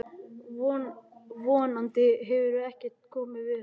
Von andi hefur ekkert komið fyrir hana.